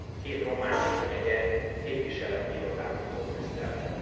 Két romániai megye képviseleti irodát nyitott Brüsszelben.